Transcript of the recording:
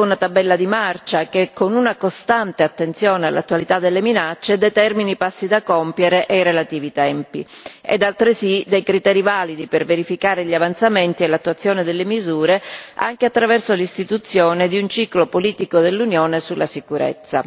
una tabella di marcia che, con una costante attenzione all'attualità delle minacce, determini passi da compiere e i relativi tempi ed altresì dei criteri validi per verificare gli avanzamenti dell'attuazione delle misure, anche attraverso l'istituzione di un ciclo politico dell'Unione sulla sicurezza.